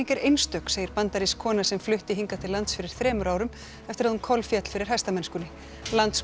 er einstök segir bandarísk kona sem flutti hingað til lands fyrir þremur árum eftir að hún kolféll fyrir hestamennskunni landsmót